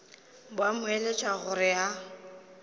ba mo eletša gore a